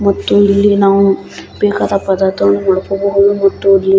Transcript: ಮತ್ತು ಇಲ್ಲಿ ನಾವು ಬೇಕಾದ ಪದಾರ್ಥವನ್ನು ಮಾಡ್ಕೋಬಹುದು --